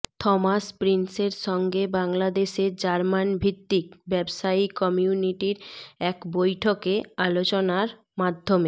Thomas প্রিন্সের সঙ্গে বাংলাদেশে জার্মানভিত্তিক ব্যবসায়ী কমিউনিটির এক বৈঠকে আলোচনার মাধ্যমে